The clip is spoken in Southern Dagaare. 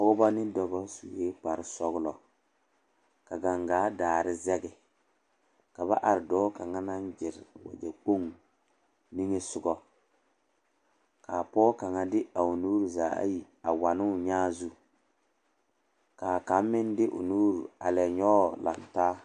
Pɔgeba ne dɔba sue kparesɔglɔ ka gangaa daare zɛge ka ba are dɔɔ kaŋ naŋ gyere wagyɛkpoŋ niŋesogɔ ka pɔge kaŋa de a o nuuri zaa ayi a wa ne o nyaa zu ka kaŋ meŋ de o nuuri a lɛ nyɔge laŋ taa.